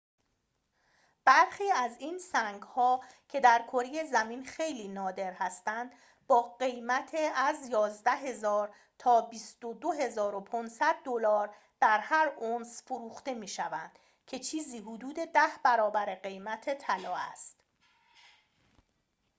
برخی از این سنگ‌ها که در کره زمین خیلی نادر هستند با قیمت از ۱۱,۰۰۰ تا ۲۲,۵۰۰ دلار در هر اونس فروخته می‌شوند که چیزی حدود ده برابر قیمت طلا است